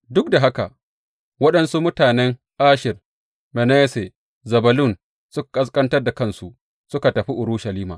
Duk da haka, waɗansu mutanen Asher, Manasse da Zebulun suka ƙasƙantar da kansu suka tafi Urushalima.